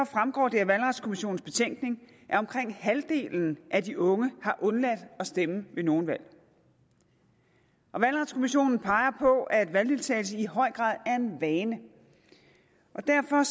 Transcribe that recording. fremgår det af valgretskommissionens betænkning at omkring halvdelen af de unge har undladt at stemme ved nogle valg og valgretskommissionen peger på at valgdeltagelse i høj grad er en vane derfor